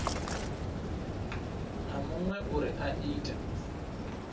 na muṅwe uri a ite